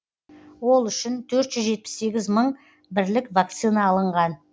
ол үшін төрт жүз жетпіс сегіз мың бірлік вакцина алынған